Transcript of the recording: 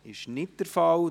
– Das ist nicht der Fall.